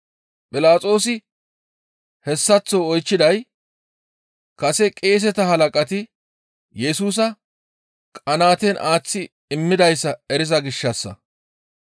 Philaxoosi hessaththo oychchiday kase qeeseta halaqati Yesusa qanaaten aaththi immidayssa eriza gishshassa.